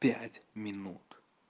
пять минут